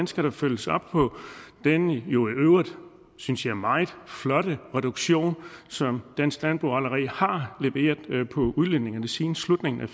skal følges op på den jo i øvrigt synes jeg meget flotte reduktion som dansk landbrug allerede har leveret på udledningerne siden slutningen af